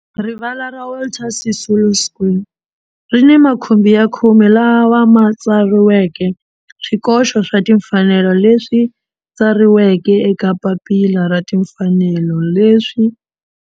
Rivala ra Walter Sisulu Square ri ni makhumbi ya khume lawa ma tsariweke swikoxo swa timfanelo leswi tsariweke eka papila ra timfanelo leswi.